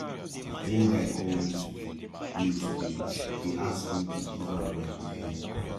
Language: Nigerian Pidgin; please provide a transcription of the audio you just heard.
one guy call me today me today dey ask me to give am my bvn